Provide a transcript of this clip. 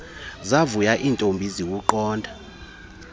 zavuya iintombi ziwuqonda